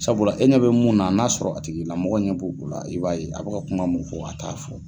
Sabula e ɲɛ bɛ mun na n'a sɔrɔ a tigi i lamɔgɔ ɲɛ b'o o la i b'a ye a bɛ ka kuma mun fɔ a t'a fɔ.